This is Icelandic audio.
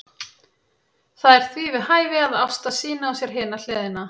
Það er því við hæfi að Ásta sýni á sér hina hliðina.